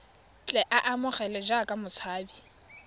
tle a amogelwe jaaka motshabi